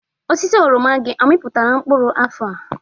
Osisi oroma gị, ọ amịpụtara mkpụrụ afọ?